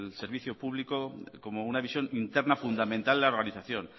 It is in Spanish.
servicio público como una visión interna fundamental de la organización